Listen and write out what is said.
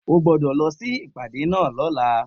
O gbódò lọ sí ìpàdé náà lóla